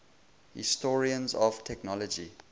historians of technology